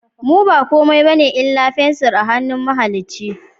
Mu ba komai bane illa fensir a hannun mahalicci